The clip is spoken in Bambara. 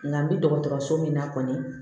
Nka bi dɔgɔtɔrɔso min na kɔni